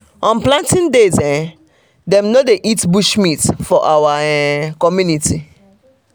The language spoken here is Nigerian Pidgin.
on planting days um dem no dey dey eat bush meat for our um community. um